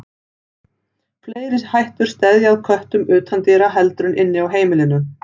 Fleiri hættur steðja að köttum utandyra heldur en inni á heimilinu.